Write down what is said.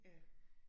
Ja